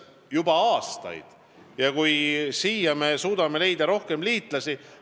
Ja see on hea, kui suudetakse leida rohkem liitlasi.